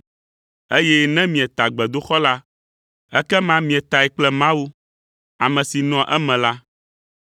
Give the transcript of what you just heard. eye ne mieta gbedoxɔ la, ekema mietae kple Mawu, ame si nɔa eme la.